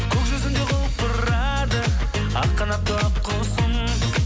көк жүзінде құлпырады ақ қанатты ақ құсым